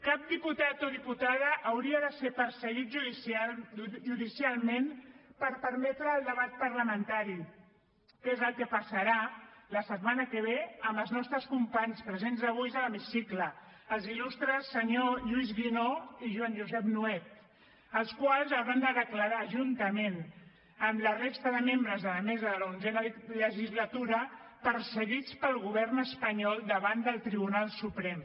cap diputat o diputada hauria de ser perseguit judicialment per permetre el debat parlamentari que és el que passarà la setmana que ve amb els nostres companys presents avui a l’hemicicle els il·lustres senyor lluís guinó i joan josep nuet els quals hauran de declarar juntament amb la resta de membres de la mesa de l’onzena legislatura perseguits pel govern espanyol davant del tribunal suprem